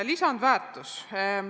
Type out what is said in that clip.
Lisandväärtus.